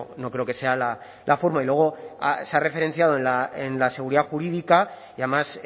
no creo que sea la forma y luego se ha referenciado en la seguridad jurídica y además